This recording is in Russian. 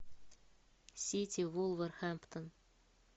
сити вулверхэмптон